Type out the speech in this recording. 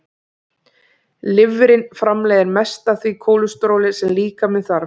Lifrin framleiðir mest af því kólesteróli sem líkaminn þarf.